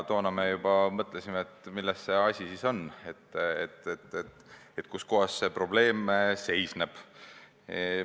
Toona me juba mõtlesime, et milles asi on, kus kohas see probleem seisneb.